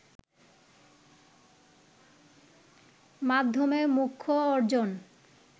মাধ্যমে মোক্ষ অর্জন